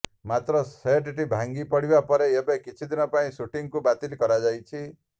ମାତ୍ର ସେଟଟି ଭାଙ୍ଗିପଡ଼ିବା ପରେ ଏବେ କିଛିଦିନ ପାଇଁ ସୁଟିଂକୁ ବାତିଲ କରାଯାଇଛି